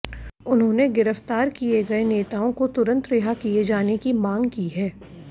उन्होंने गिरफ्तार किये गये नेताओं को तुरंत रिहा किये जाने की मांग की है